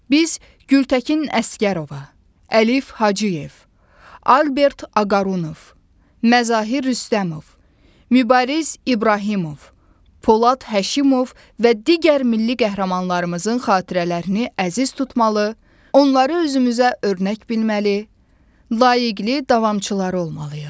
Biz Gültəkin Əsgərova, Əlif Hacıyev, Albert Ağarunov, Məzahir Rüstəmov, Mübariz İbrahimov, Polad Həşimov və digər milli qəhrəmanlarımızın xatirələrini əziz tutmalı, onları özümüzə örnək bilməli, layiqli davamçıları olmalıyıq.